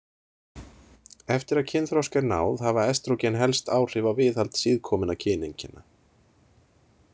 Eftir að kynþroska er náð hafa estrógen helst áhrif á viðhald síðkominna kyneinkenna.